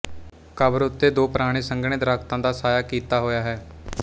ਕਬਰ ਉੱਤੇ ਦੋ ਪੁਰਾਣੇ ਸੰਘਣੇ ਦਰਖਤਾਂ ਦਾ ਸਾਇਆ ਕੀਤਾ ਹੋਇਆ ਹੈ